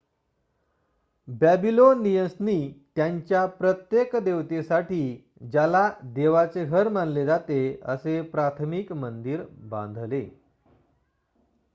बॅबीलोनियन्सनी त्यांच्या प्रत्येक देवतेसाठी ज्याला देवाचे घर मानले जाते असे प्राथमिक मंदिर बांधले